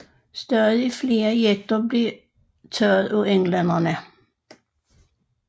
Stadig flere jekter blev taget af englænderne